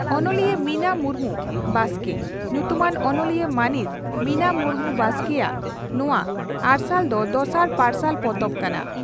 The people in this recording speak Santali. ᱚᱱᱚᱞᱤᱭᱟᱹ ᱢᱤᱱᱟ ᱢᱩᱨᱢᱩ (ᱵᱟᱥᱠᱮ) ᱧᱩᱛᱩᱢᱟᱱ ᱚᱱᱚᱞᱤᱭᱟᱹ ᱢᱟᱹᱱᱤᱡ ᱢᱤᱱᱟ ᱢᱩᱨᱢᱩ (ᱵᱟᱥᱠᱮ) ᱭᱟᱜ ᱱᱚᱣᱟ 'ᱟᱨᱥᱟᱞ' ᱫᱚ ᱫᱚᱥᱟᱨ ᱯᱟᱨᱥᱟᱞ ᱯᱚᱛᱚᱵ ᱠᱟᱱᱟ ᱾